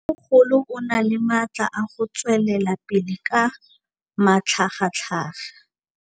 Mmêmogolo o na le matla a go tswelela pele ka matlhagatlhaga.